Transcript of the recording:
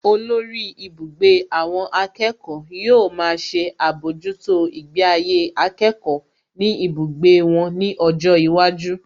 Olórí ibùgbé àwọn akẹ́kọ̀ọ́ yóò máa ṣe àbójútó ìgbé ayé akẹ́kọ̀ọ́ ní ibùgbé wọn ní ọjọ́ iwájú